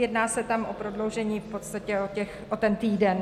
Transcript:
Jedná se tam o prodloužení v podstatě o ten týden.